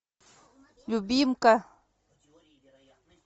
любимка